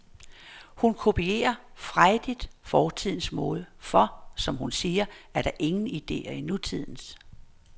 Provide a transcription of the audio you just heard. Hun kopierer frejdigt fortidens mode, for, som hun siger, der er ingen idéer i nutidens.